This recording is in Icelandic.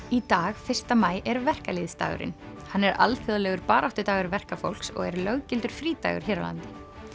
í dag fyrsta maí er verkalýðsdagurinn hann er alþjóðlegur baráttudagur verkafólks og er löggildur frídagur hér á landi